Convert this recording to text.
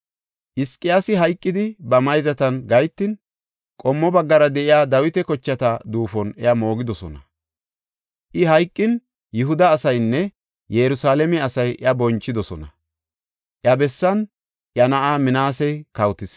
Hizqiyaasi hayqidi, ba mayzatan gahetin qommo baggara de7iya Dawita kochata duufon iya moogidosona. I hayqin, Yihuda asaynne Yerusalaame asay iya bonchidosona. Iya bessan iya na7ay Minaasey kawotis.